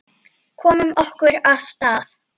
Komum okkur af stað.